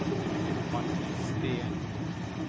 Hanne Steen